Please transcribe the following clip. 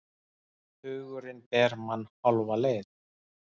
Hugurinn ber mann hálfa leið.